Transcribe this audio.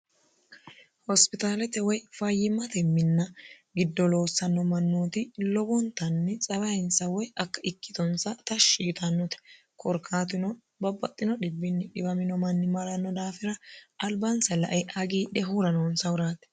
hospitaalete woy fayyimmate minna giddo loossanno mannooti lowontanni tsabayinsa woy ikkitonsa tashshi yitannote korkaatuno babbaxino dhibinni dhiwamino manni maranno daafira albansa la"e hagiidhe huranoonsahuraati